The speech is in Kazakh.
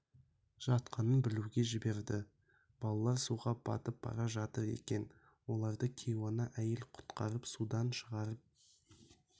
жатқанын білуге жіберді балалар суға батып бара жатыр екен оларды кейуана әйел құтқарып судан шығарып